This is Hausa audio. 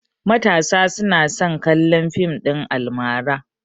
Matasa tana son kallon fim ɗin almara